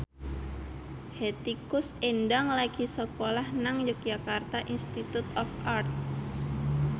Hetty Koes Endang lagi sekolah nang Yogyakarta Institute of Art